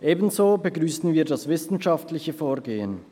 Ebenso begrüssen wir das wissenschaftliche Vorgehen.